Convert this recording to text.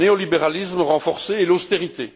Par le néolibéralisme renforcé et l'austérité.